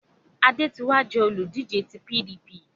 Adé ti wá jẹ́ olùdíje ti PDP